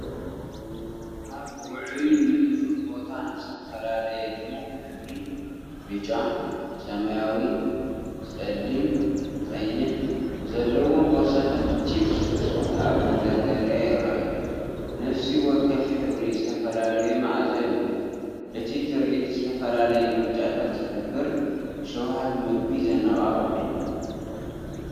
ኣብ ውዑይን ንጡፍን ቦታ፡ ዝተፈላለየ ድሙቕ ሕብሪ (ብጫ፡ ሰማያዊ፡ ጸሊም፡ ቀይሕ) ዘለዎም ቦርሳታት ቺፕስ ብስኩት ኣብ መደርደሪታት ይረአዩ። ነፍሲ ወከፍ ሕብሪ ዝተፈላለየ መኣዛ ይውክል። እቲ ትርኢት ዝተፈላለየ ምርጫታት ዝሕብርን ሸውሃት መግቢ ዘነቓቕሕን እዩ።